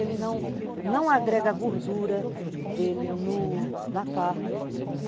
Ele não, não agrega gordura dele no na carne.